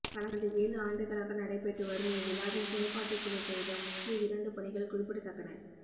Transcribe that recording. கடந்த ஏழு ஆண்டுகளாக நடைபெற்று வரும் இவ்விழாவின்செயற்பாட்டுக்குழு செய்த முக்கிய இரண்டு பணிகள் குறிப்பிடத்தக்கன